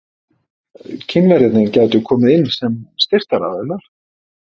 Kínverjarnir gætu komið inn sem styrktaraðilar.